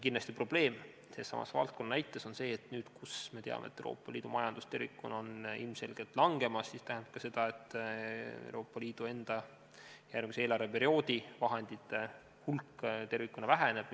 Kindlasti on probleem sellesama valdkonna puhul see, et nüüd, kus me teame, et Euroopa Liidu majandus tervikuna on ilmselgelt langemas, tähendab see ka seda, et Euroopa Liidu enda järgmise eelarveperioodi vahendite hulk tervikuna väheneb.